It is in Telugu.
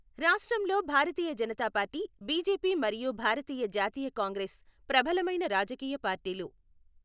రాష్ట్రంలో భారతీయ జనతా పార్టీ, బిజెపి మరియు భారతీయ జాతీయ కాంగ్రెస్ ప్రబలమైన రాజకీయ పార్టీలు .